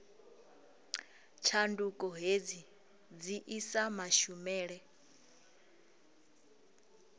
tshanduko hedzi dzi isa mashumele